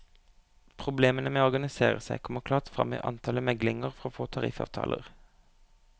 Problemene med å organisere seg kommer klart frem i antallet meglinger for å få tariffavtaler.